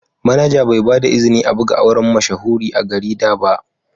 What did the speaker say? Manaja Bai ba da izini a buga auren mashahuri a garida ba.